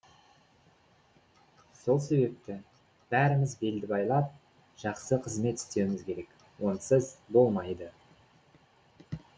сол себепті бәріміз белді байлап жақсы қызмет істеуіміз керек онсыз болмайды